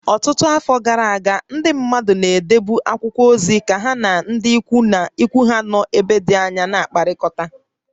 Ọtụtụ afọ gara aga, ndị mmadụ na-edebu akwụkwọ ozi ka ha na ndị ikwu ha nọ n'ebe dị anya na-akpakọrịta